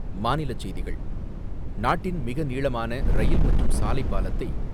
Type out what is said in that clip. மாநிலச் செய்திகள்; நாட்டின் மிக நீளமான ரயில் மற்றும் சாலைப் பாலத்தை